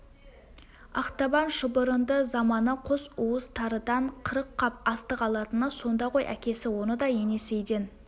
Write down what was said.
ақтабан шұбырынды заманы қос уыс тарыдан қырық қап астық алатыны сонда ғой әкесі оны да енесейден